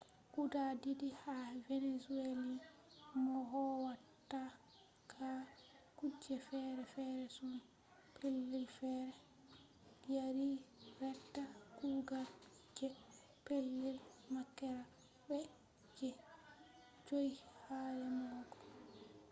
guda didi ha venezuelans mo howata ha kuje fere-fere her pellei fere yari reta kugal je pellel makera be je 5 ha remogo